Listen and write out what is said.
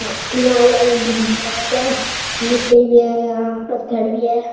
या एंड यहाँ लोग घूमने आते है लिट्टे भी है यहाँ पत्थड़ भी है।